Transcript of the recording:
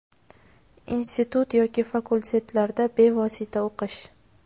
Institut yoki fakultetlarda bevosita o‘qish.